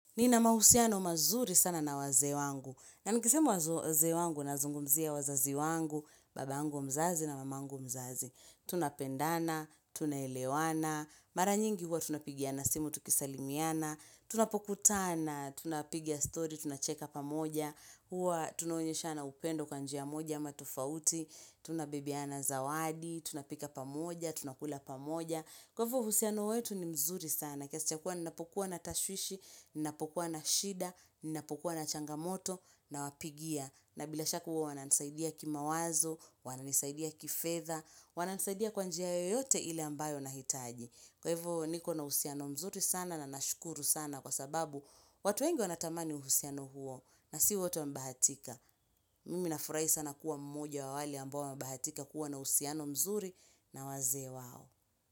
Nina mahusiano mazuri sana na wazee wangu, na nikisema wazee wangu nazungumzia wazazi wangu babangu mzazi na mamangu mzazi Tunapendana, tunaelewana Mara nyingi huwa tunapigiana simu tukisalimiana Tunapokutana, tunapiga story, tunacheka pamoja Huwa tunonyeshana upendo kwa njia moja ama tofauti Tunabebeana zawadi, tunapika pamoja, tunakula pamoja Kwa hivo uhusiano wetu ni mzuri sana kiasi cha kuwa ninapokua na tashwishi, ninapokua na shida, ninapokua na changamoto nawapigia. Na bila shaka huwa wananisaidia kimawazo, wananisaidia kifedha, wananisaidia kwa njia yoyote ile ambayo nahitaji. Kwa hivyo niko na uhusiano mzuri sana na nashukuru sana kwa sababu watu wengi wanatamani uhusiano huo na si wote hubahatika. Mimi nafurahi sana kuwa mmoja wa wale ambao wamebahatika kuwa na uhusiano mzuri na waze wao.